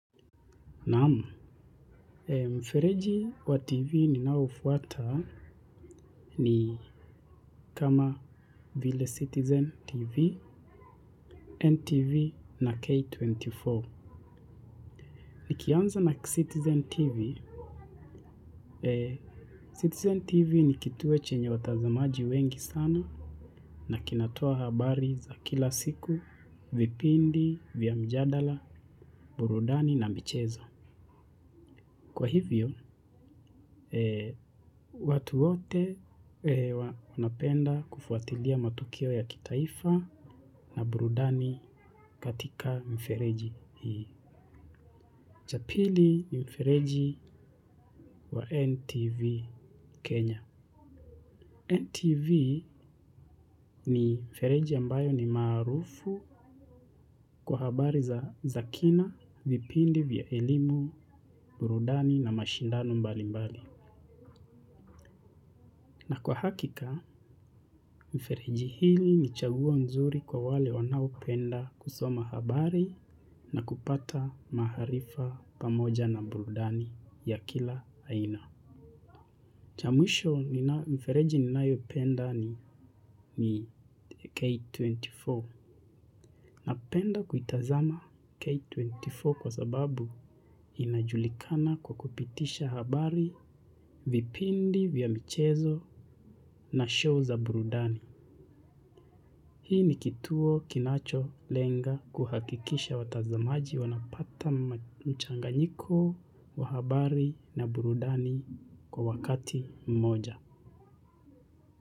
Naam, mfereji wa TV ninaoufuata ni kama Ville Citizen TV, NTV na K24. Nikianza na Citizen TV, Citizen TV ni kituwe chenye watazamaji wengi sana na kinatoa habari za kila siku, vipindi, vya mjadala, burudani na michezo. Kwa hivyo, watu wote wanapenda kufuatilia matukio ya kitaifa na burudani katika mifereji hii. Cha pili ni mfereji wa NTV Kenya. NTV ni mfereji ambayo ni maarufu kwa habari za za kina, vipindi vya elimu, burudani na mashindano mbalimbali. Na kwa hakika, mfereji hili ni chaguo nzuri kwa wale wanaopenda kusoma habari na kupata maharifa pamoja na burudani ya kila aina. Cha mwisho mfereji ninayopenda ni K24. Napenda kuitazama K24 kwa sababu inajulikana kwa kupitisha habari vipindi vya michezo na show za burudani. Hii ni kituo kinacholenga kuhakikisha watazamaji wanapata mchanganyiko, wa habari na burudani kwa wakati mmoja.